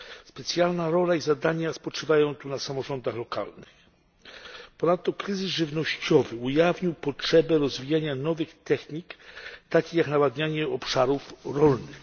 Specjalna rola i zadania spoczywają tu na samorządach lokalnych. Ponadto kryzys żywnościowy ujawnił potrzebę rozwijania nowych technik, takich jak nawadnianie obszarów rolnych.